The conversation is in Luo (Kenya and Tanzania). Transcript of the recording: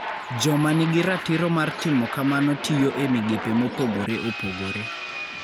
Joma nigi ratiro mar timo kamano tiyo e migepe mopogore opogore.